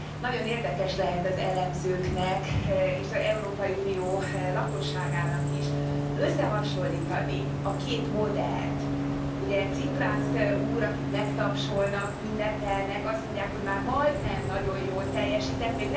Nagyon érdekes lehet az elemzőknek és az Európai Unió lakosságának is összehasonlítani a két modellt, ugye Ciprász úr, akit megtapsolnak, ünnepelnek, azt mondják, hogy már majdnem nagyon jól teljesített.